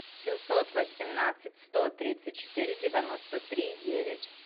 семьсот восемнадцать сто тридцать четыре девяносто три девять